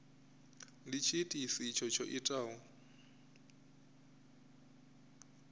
ndi tshiitisi itshi tsho itaho